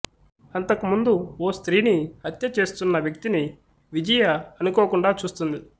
అంతకుముందు ఓ స్రీని హత్య చేస్తున్న వ్యక్తిని విజయ అనుకోకుండా చూస్తుంది